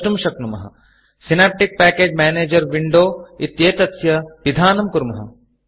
Synaptic package manager Windowसिनाप्टिक् package manager window इत्येतस्य पिधानं कुर्मः